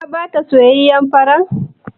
Ka ba ta soyayyen farar?